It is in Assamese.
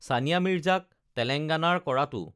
ছানিয়া মিৰ্জাক তেলেঙগানাৰ কৰাতো